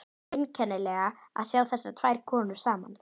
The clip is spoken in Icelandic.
Einkennilegt að sjá þessar tvær konur saman.